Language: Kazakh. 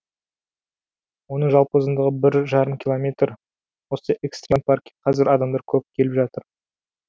оның жалпы ұзындығы бір жарым километр осы экстрим паркке қазір адамдар көп келіп жатыр